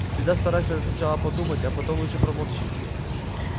всегда старайся сначала подумать а потом лучше промолчи